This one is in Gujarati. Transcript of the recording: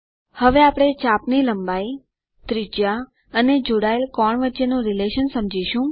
હવે આપણે ચાપની લંબાઇ ત્રિજ્યા અને જોડાયેલ કોણ વચ્ચેનો સંબંધ સમજીશું